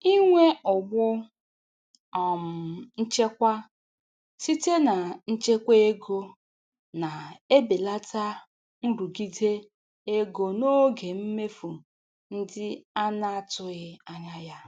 Inwe ụgbụ um nchekwa site na nchekwa ego na-ebelata nrụgide ego n'oge mmefu ndị a na-atụghị anya ya.